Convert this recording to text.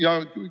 Aeg!